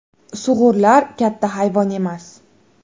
Sug‘urlar katta hayvon emas.